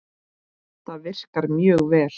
Það virkar mjög vel.